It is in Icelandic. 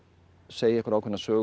segja einhverja ákveðna sögu að